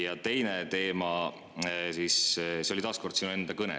Ja teine teema, seegi oli sinu enda kõnes.